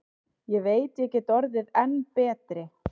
Ég veit ég get orðið enn betri.